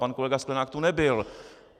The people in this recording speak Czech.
Pan kolega Sklenák tu nebyl.